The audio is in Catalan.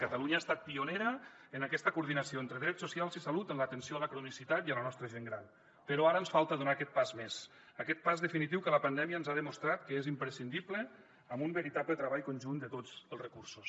catalunya ha estat pionera en aquesta coordinació entre drets socials i salut en l’atenció a la cronicitat i a la nostra gent gran però ara ens falta donar aquest pas més aquest pas definitiu que la pandèmia ens ha demostrat que és imprescindible amb un veritable treball conjunt de tots els recursos